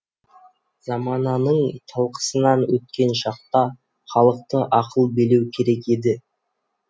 замананың талқысынан өткен шақта халықты ақыл билеу керек еді